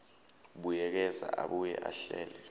buyekeza abuye ahlele